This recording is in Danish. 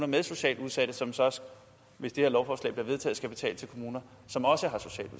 med socialt udsatte som så hvis det her lovforslag bliver vedtaget skal betale til kommuner som også